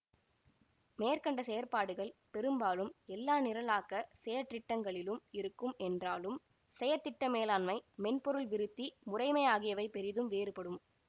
மேற்க்கண்ட செயற்பாடுகள் பெரும்பாலும் எல்லா நிரலாக்க செயற்றிட்டங்களிலும் இருக்கும் என்றாலும் செயற்திட்ட மேலாண்மை மென்பொருள் விருத்தி முறைமை ஆகியவை பெரிதும் வேறுபடும்